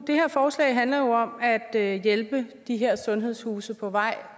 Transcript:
her forslag handler jo om at at hjælpe de her sundhedshuse på vej